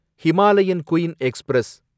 Himalayan queen express